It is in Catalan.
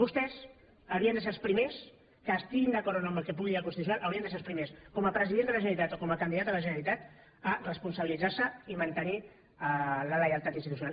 vostès haurien de ser els primers estiguin d’acord o no amb el que pugui dir el constitucional com a president de la generalitat o com a candidat a la generalitat a responsabilitzar se i mantenir la lleialtat institucional